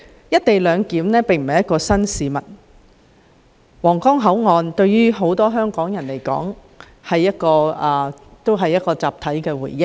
"一地兩檢"並非新事物，皇崗口岸對於很多香港人來說也可算是一個集體回憶。